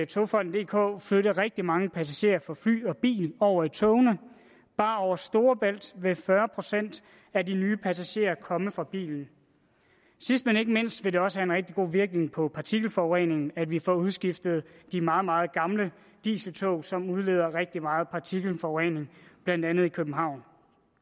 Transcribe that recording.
togfonden dk flytte rigtig mange passagerer fra fly og biler over i togene bare over storebælt vil fyrre procent af de nye passagerer komme fra bilen sidst men ikke mindst vil det også have en rigtig god virkning på partikelforureningen at vi får udskiftet de meget meget gamle dieseltog som udleder rigtig meget partikelforurening blandt andet i københavn